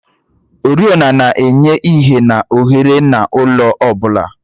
oriọna na-enye ìhè na ohere n'ụlọ ọ bụla.